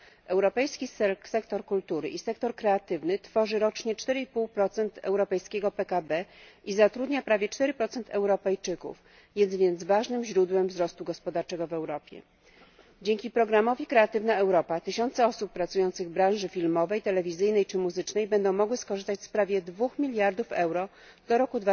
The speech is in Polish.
Europejski sektor kultury i sektor kreatywny tworzy rocznie 4,5 europejskiego PKB i zatrudnia prawie 4 Europejczyków, jest więc ważnym źródłem wzrostu gospodarczego w Europie. Dzięki programowi Kreatywna Europa tysiące osób pracujących w branży filmowej, telewizyjnej czy muzycznej będą mogły skorzystać z prawie 2 mld euro do roku